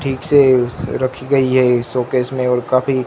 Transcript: ठीक से उस रखी गई है सोकेस मे और काफी--